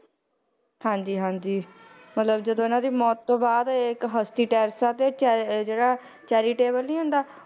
ਹਾਂਜੀ ਹਾਂਜੀ ਮਤਲਬ ਜਦੋਂ ਇਹਨਾਂ ਦੀ ਮੌਤ ਤੋਂ ਬਾਅਦ ਇਹ ਇੱਕ ਹਸਤੀ ਟੈਰੇਸਾ ਤੇ ਚੈ~ ਜਿਹੜਾ charitable ਨੀ ਹੁੰਦਾ,